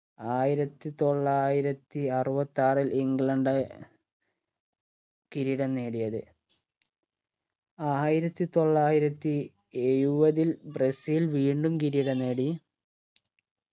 ആയിരത്തി തൊള്ളായിരത്തി അറുവത്താറിൽ ഇംഗ്ലണ്ട് കിരീടം നേടിയത് ആയിരത്തി തൊള്ളായിരത്തി എഴുപതിൽ ബ്രസീൽ വീണ്ടും കിരീടം നേടി